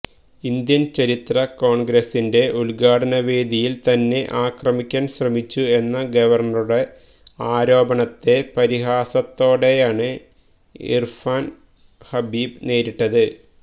Indian ചരിത്ര കോൺഗ്രസിന്റെ ഉദ്ഘാടന വേദിയിൽ തന്നെ ആക്രമിക്കാൻ ശ്രമിച്ചു എന്ന ഗവർണറുടെ ആരോപണത്തെ പരിഹാസത്തോടെയാണ് ഇർഫാൻ ഹബീബ് നേരിട്ടത്